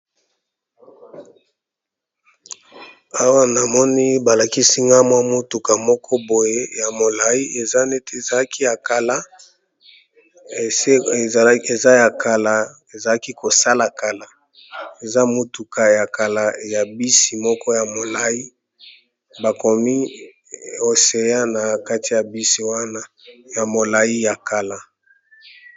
Awa namoni balakisi nga motuka moko boye ya molai eza ya kala ezalaki kosala kala eza motuka ya bisi moko ya molai bakomi oseya na kati ya bisi wana ya molai ya kala.